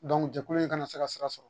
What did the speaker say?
jɛkulu in kana se ka sira sɔrɔ